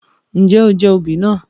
Njẹ o jẹ oobi naa?